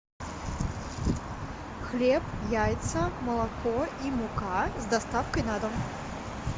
хлеб яйца молоко и мука с доставкой на дом